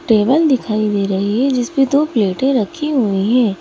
Table दिखाई दे रही है जिसपे दो प्लेटें रखी हुई हैं।